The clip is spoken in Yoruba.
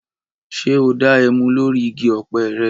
Ṣé o da ẹmu lórí igi ọ̀pẹ́ rẹ?